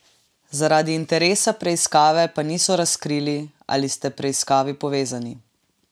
Zaradi interesa preiskave pa niso razkrili, ali sta preiskavi povezani.